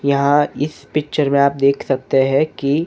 यहाँ इस पिक्चर में आप देख सकते हैं कि--